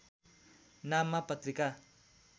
नाममा पत्रिका